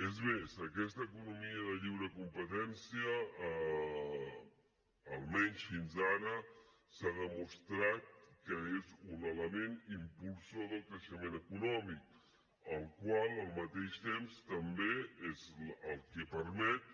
és més aquesta economia de lliure competència almenys fins ara s’ha demostrat que és un element impulsor del creixement econòmic el qual al mateix temps també és el que permet